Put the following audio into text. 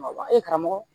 E karamɔgɔ